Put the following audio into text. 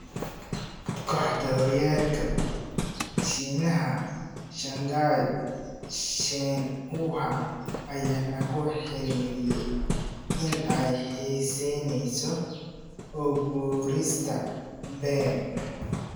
(ESPN) Kooxda horyaalka Shiinaha Shanghai Shenhua ayaa lagu xiriiriyay in ay xiiseyneyso u guurista Bale.